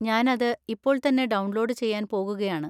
ഞാൻ അത് ഇപ്പോൾ തന്നെ ഡൗൺലോഡ് ചെയ്യാൻ പോകുകയാണ്.